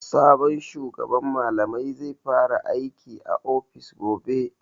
Sabon shugaban malamai zai fara aiki a ofis gobe.